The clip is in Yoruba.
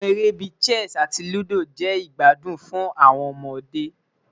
Awọn ere bii Chess ati Ludo jẹ igbadun fun awọn ọmọde